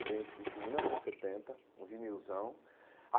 Eu ganhei esse disco em mil novecentos e setenta, um vinilzão.